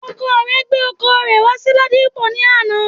Ọkọ rẹ gbé ọkọ̀ rẹ̀ wá sí Ladipo ní àná